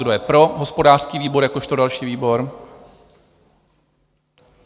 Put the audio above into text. Kdo je pro hospodářský výbor jakožto další výbor?